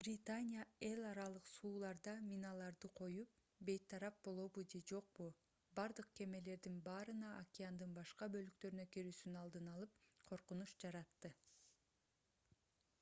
британия эл аралык сууларда миналарды коюп бейтарап болобу же жокпу бардык кемелердин баарына океандын башка бөлүктөрүнө кирүүсүнүн алдын алып коркунуч жаратты